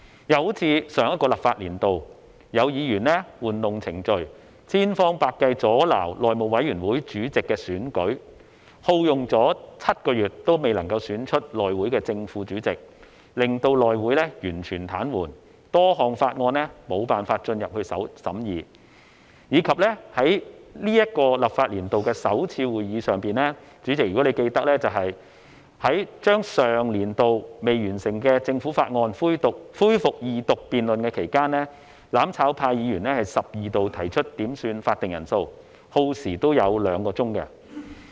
又正如上個立法年度，有議員玩弄程序，千方百計阻撓內務委員會主席的選舉，耗用7個月仍未能選出內會的正副主席，令內會完全癱瘓，多項法案無法審議，以及在本立法年度的首次會議上，主席，如你記得，在將上年度未完成的政府法案恢復二讀辯論期間，"攬炒派"議員十二度提出要求點算法定人數，亦耗時兩小時。